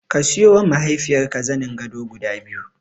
Ka siyowa mahaifiyarka zanin gado guda biyu.